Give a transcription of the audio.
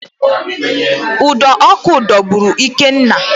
Ụdọ ọkụ dọgburu Ikenna